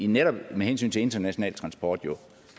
netop med hensyn til international transport